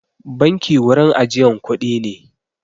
Banki wurin ajiyan kuɗi ne.